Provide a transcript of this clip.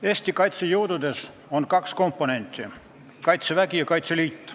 Eesti kaitsejõududes on kaks komponenti: Kaitsevägi ja Kaitseliit.